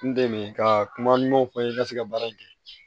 N deli ka kuma ɲumanw fɔ n ye ka se ka baara in kɛ